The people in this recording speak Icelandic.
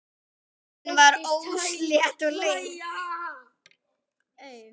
Leiðin var óslétt og löng.